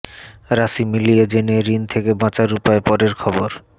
রাশি মিলিয়ে জেনে ঋণ থেকে বাঁচার উপায় পরের খবর